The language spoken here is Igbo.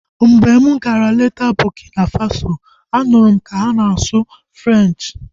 Mgbe m gara leta Burkina Faso, a nụrụ m ka ha na-asụ Frenchi